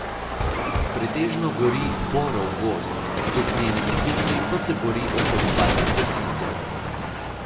Pretežno gori borov gozd, z ognjenimi zublji pa se bori okoli dvajset gasilcev.